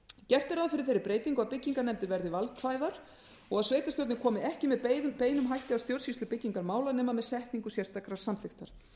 gert er ráð fyrir þeirri breytingu að byggingarnefndir verði valkvæðar og að sveitarstjórnir komi ekki með beinum hætti að stjórnsýslu byggingarmála nema með setningu sérstakrar samþykktar